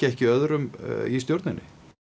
ekki öðrum í stjórninni